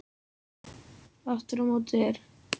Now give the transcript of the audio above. Aftur á móti er